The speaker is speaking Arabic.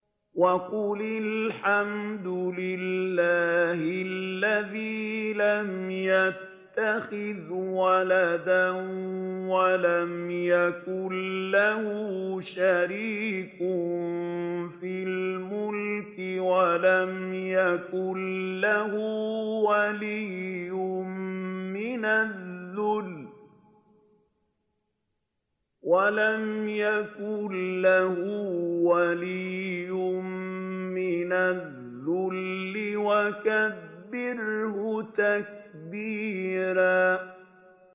وَقُلِ الْحَمْدُ لِلَّهِ الَّذِي لَمْ يَتَّخِذْ وَلَدًا وَلَمْ يَكُن لَّهُ شَرِيكٌ فِي الْمُلْكِ وَلَمْ يَكُن لَّهُ وَلِيٌّ مِّنَ الذُّلِّ ۖ وَكَبِّرْهُ تَكْبِيرًا